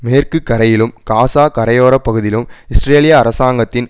மேற்கு கரையிலும் காஸா கரையோரப்பகுதியிலும் இஸ்ரேலிய அரசாங்கத்தின்